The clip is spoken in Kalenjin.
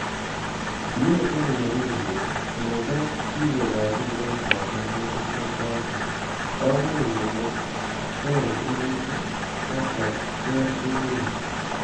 Tiet en ele mi bik, alan ko kikochi kiboitiot ngatutik chechoton, komuch komatech imanit ak kocher timingung.